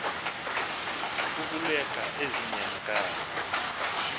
kukuleqa ezi nyamakazi